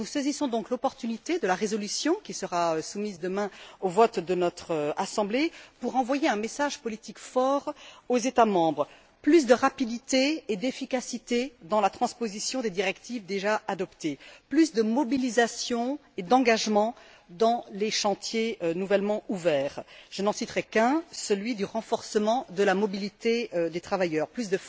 Nous saisissons donc l'opportunité de la résolution, qui sera soumise demain au vote de notre Assemblée, pour envoyer un message politique fort aux États membres plus de rapidité et d'efficacité dans la transposition des directives déjà adoptées, plus de mobilisation et d'engagement dans les chantiers nouvellement ouverts je n'en citerai qu'un, celui du renforcement de la mobilité des travailleurs plus